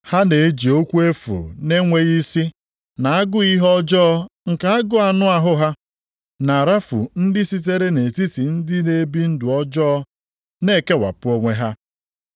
Ha na-eji okwu efu na-enweghị isi, na agụụ ihe ọjọọ nke na-agụ anụ ahụ ha, na-arafu ndị sitere nʼetiti ndị na-ebi ndụ ọjọọ na-ekewapụ onwe ha.